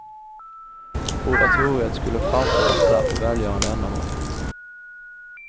Oratoriet skulle framföras där för välgörande ändamål.